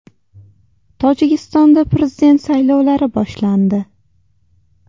Tojikistonda prezident saylovlari boshlandi.